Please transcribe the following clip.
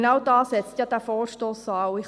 Genau dort setzt dieser Vorstoss an.